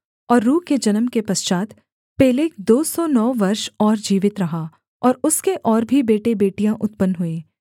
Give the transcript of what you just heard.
और रू के जन्म के पश्चात् पेलेग दो सौ नौ वर्ष और जीवित रहा और उसके और भी बेटेबेटियाँ उत्पन्न हुईं